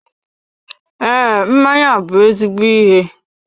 Ee, mmanya bụ ezigbo ihe